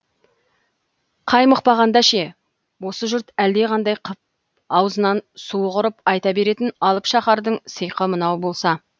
қаймықпағанда ше осы жұрт әлдеқандай қып аузынан суы құрып айта беретін алып шаһардың сиқы мынау болса